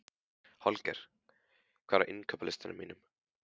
Holger, hvað er á innkaupalistanum mínum?